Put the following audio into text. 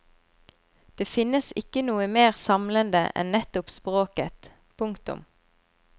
Det finnes ikke noe mer samlende enn nettopp språket. punktum